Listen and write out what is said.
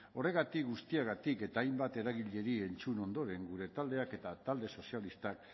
horregatik guztiagatik eta hainbat eragileri entzun ondoren gure taldeak eta talde sozialistak